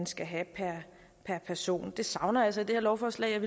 skal have per person det savner jeg altså i det her lovforslag jeg